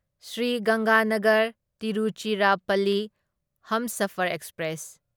Shri Ganganagar Tiruchirappalli Humsafar express